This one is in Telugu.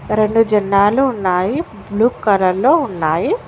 రెండు జన్నాలు ఉన్నాయి బ్లూ కలర్ లో ఉన్నాయి.